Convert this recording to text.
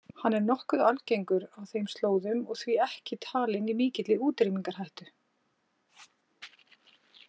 Hann er enn nokkuð algengur á þeim slóðum og því ekki talinn í mikilli útrýmingarhættu.